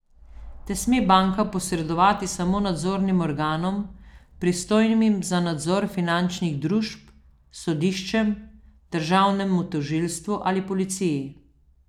Te sme banka posredovati samo nadzornim organom, pristojnim za nadzor finančnih družb, sodiščem, državnemu tožilstvu ali policiji.